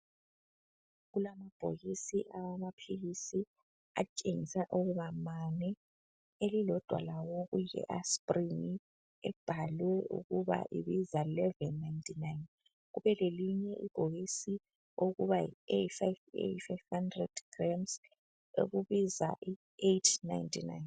Kulamabhokisi awamaphilisi atshengisa ukuba mane elilodwa lawo kuleAsprin ebhalwe ukuba ibiza 11.99 kube lelinye ibhokisi eyi500g elibiza 8.99.